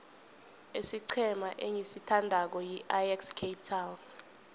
isiqhema engisithandako yiajax cape town